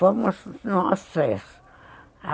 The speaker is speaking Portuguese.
Fomos nós três.